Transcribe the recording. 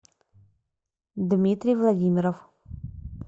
дмитрий владимиров